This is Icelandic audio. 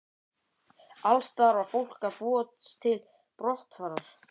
Alls staðar var fólk að búast til brottfarar.